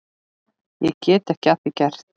Get ekki að því gert.